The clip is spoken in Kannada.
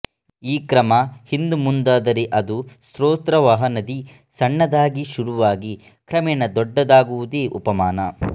ಈ ಕ್ರಮ ಹಿಂದುಮುಂದಾದರೆ ಅದು ಸ್ರೋತೋವಹ ನದಿ ಸಣ್ಣದಾಗಿ ಶುರುವಾಗಿ ಕ್ರಮೇಣ ದೊಡ್ಡದಾಗುವುದೇ ಉಪಮಾನ